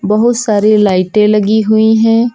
बहुत सारे लाइटे लगी हुई है।